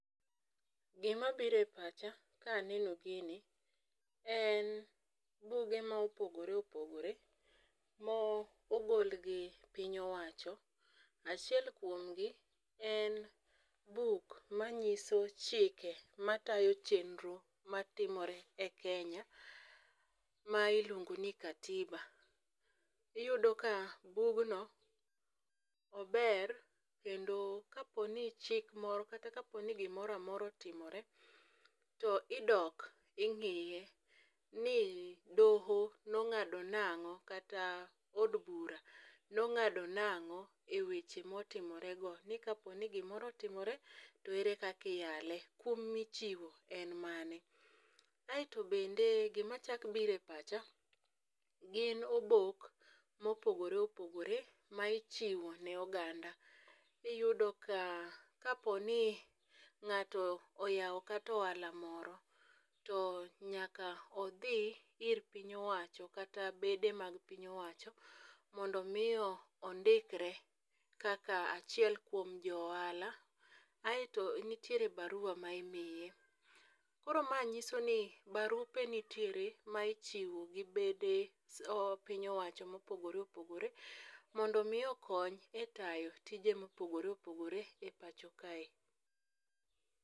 Gima bire pacha kaneno gini en buge ma opogore opogore mogolgi piny owacho. Achiel kuom gi en buk manyiso chike matayo chenro matimore e Kenya ma iluongo ni akatiba . Iyudo ka bugno ober kendo kapo ni chik moro kata kapo ni gimoramora otimore to idok ing'iye ni doho nong'ado nang'o kata od bura nong'ado nang'o eweche motimore go. Ni kapo ni gimro otimore to ere kaka iyael kum michiwo en mane. Aeto bende gima chak bire pacha gin obok mopogore opogore ma ichiwo ne oganda. Iyudo ka kapo ni ng'ato nyalo kato ohala moro to nyaka odhi ir piny owacho kata bede mag piny owacho mondo mi ondikre kaka achiel kuom o ohala aeto nitiere barua ma imiye. Koro ma nyiso ni barupe nitiere ma ichiwo gi bede piny owacho mopogore opogore mondo mi okony e tayo tije mopogore opogore e pacho kae.